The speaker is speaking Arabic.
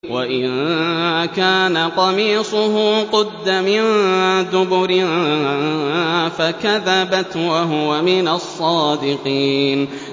وَإِن كَانَ قَمِيصُهُ قُدَّ مِن دُبُرٍ فَكَذَبَتْ وَهُوَ مِنَ الصَّادِقِينَ